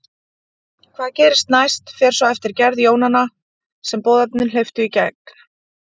Hvað gerist næst fer svo eftir gerð jónanna sem boðefnin hleyptu í gegn.